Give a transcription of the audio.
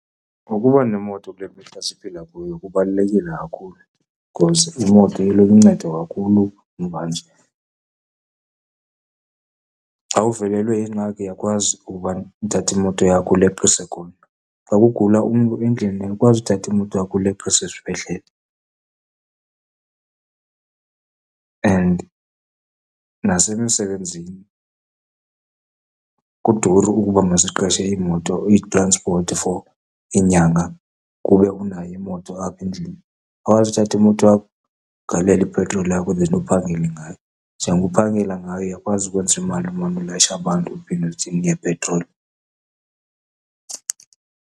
Ukuba nemoto kule mihla siphila kuyo kubalulekile kakhulu, because imoto iluncedo kakhulu mvanje. Xa uvelelwe yingxaki uyakwazi uba uthathe imoto yakho uleqise khona, xa kugula umntu endlini uyakwazi uthatha imoto yakho uleqise esibhedlele. And nasemisebenzini kuduru ukuba masiqeshe iimoto, iitranspothi for inyanga kube unayo imoto apha endlini. Uyakwazi ukuthatha imoto yakho ugalele ipetroli yakho then uphangele ngayo. Njengoba uphangela ngayo, uyakwazi ukwenza imali umane ulayisha abantu uphinde uthenge ipetroli.